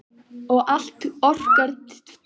Og allt orkar tvímælis þá gert er.